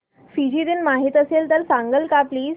Fiji दिन माहीत असेल तर सांगाल का प्लीज